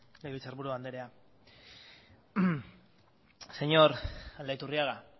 legebiltzarburu andrea señor aldaiturriaga